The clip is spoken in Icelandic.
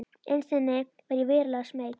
Innst inni var ég verulega smeyk.